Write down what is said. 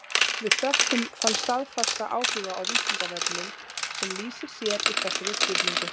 Við þökkum þann staðfasta áhuga á Vísindavefnum sem lýsir sér í þessari spurningu.